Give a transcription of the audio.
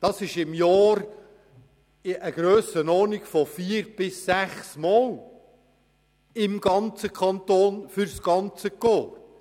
Das ist im ganzen Kanton Bern und im ganzen Korps vielleicht vier bis sechs Mal pro Jahr der Fall.